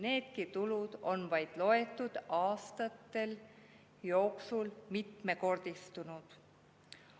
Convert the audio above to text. Needki tulud on vaid loetud aastate jooksul mitmekordistunud.